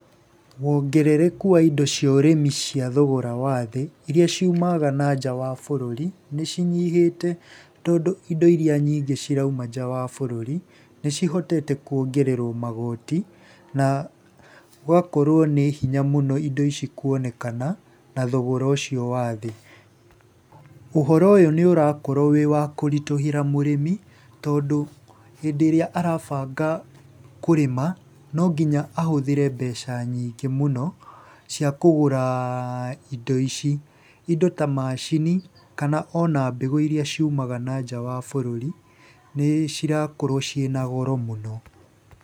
Wongerereku wa indo cia ũrĩmi cia thogora wa thĩ iria ciumaga nanja wa bũrũri nĩ cinyihĩte tondũ indo iria nyingĩ cirauma nja wa bũrũri, nĩ cihotete kuongererwo magoti, na gũgakorwo ní hinya mũno indo ici kuonekana na thogora ũcio wa thĩ. Ũhoro ũyũ nĩ ũrakorwo wiwa kũritũhĩra mũrĩmi tondũ hĩndĩ ĩrĩa arabanga kũrĩma no nginya ahũthĩre mbeca nyingĩ mũno cia kũgũra indo ici. Indo ta macini kana ona mbegũ iria ciumaga nanja wa bũrũri nĩ cirakorwo ciĩ na goro mũno.